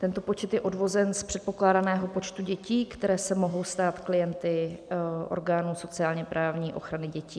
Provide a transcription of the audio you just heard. Tento počet je odvozen z předpokládaného počtu dětí, které se mohou stát klienty orgánů sociálně-právní ochrany dětí.